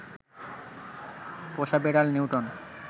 পোষা বেড়াল নিউটন